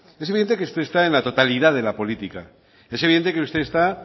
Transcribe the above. es evidente que usted está en la totalidad de la política es evidente que usted está